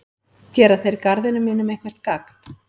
Gera þeir garðinum mínum eitthvert gagn?